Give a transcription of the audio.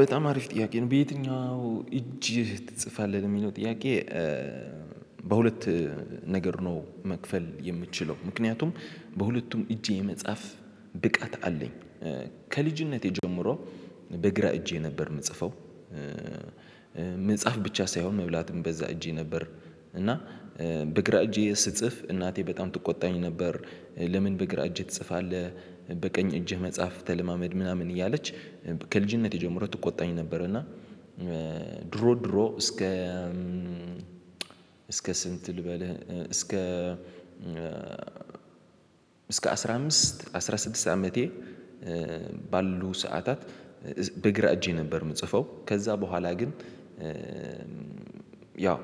በጣም አሪፍ ጥያቄ ነው በየትኛው እጅህ ትጽፋለህ? የሚለው ጥያቄ በሁለት ነገር ነው መክፈል የምችለው። ምክንያቱም በሁለቱም እጄ የመጻፍ ብቃት አለኝ። ከልጅነቴ ጀምሮ በግራ እጄ ነበር የምጽፈው። መጽሐፍ ብቻ ሳይሆን መብላትም በዛ እጄ ነበር እና በግራ እጄ ስስጽፍ እናቴ በጣም ትቆጣኝ ነበር። ለምን በግራ እጅ ትጽፋለህ በቀኝ እጅህ መጽሐፍ ተለማመድ ምናምን እያለች ከልጅነቴ ጀምሮ ትቆጣኝ ነበር እና ድሮ ድሮ እስከ እስከ ስንት ልበልህ እስከ እስከ አስራ አምስት አስራ ስድስት አመቴ ባሉ ሰዓታት በግራ እጄ ነበር የምጽፈው። ከዛ በኋላ ግን ያው